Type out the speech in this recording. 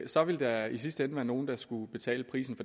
så ville der i sidste ende være nogle der skulle betale prisen